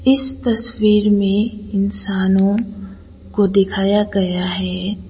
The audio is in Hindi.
इस तस्वीर में इंसानों को दिखाया गया हैं।